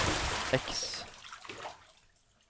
X